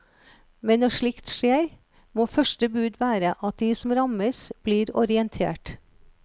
Men når slikt skjer, må første bud være at de som rammes blir orientert.